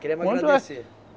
Queremos agradecer. Quanto é